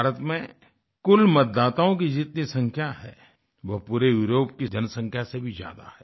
भारत में कुल मतदाताओं की जितनी संख्या है वह पूरे यूरोप की जनसंख्या से भी ज्यादा है